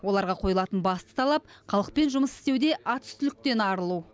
оларға қойылатын басты талап халықпен жұмыс істеуде атүстіліктен арылу